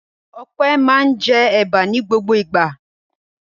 Ọpẹ́ máa ń jẹ ẹ̀bà ní gbogbo ìgbà.